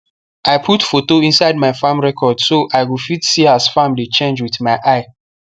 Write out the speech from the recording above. i put photo inside my farm record so i go fit see as farm dey change with my eye